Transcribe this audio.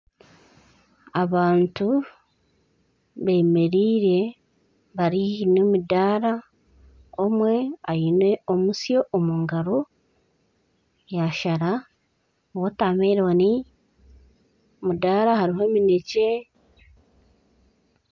Abantu bemereire bari haihi n'emidaara, omwe aine omusyo omu ngaro yaashara wotameloni. Aha mudaara hariho eminekye!